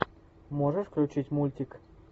можешь включить мультик